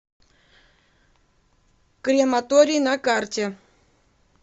крематорий на карте